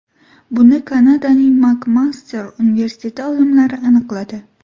Buni Kanadaning Makmaster universiteti olimlari aniqladi.